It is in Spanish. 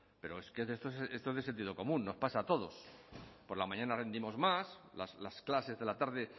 pero es que esto es de sentido común nos pasa a todos por la mañana rendimos más las clases de la tarde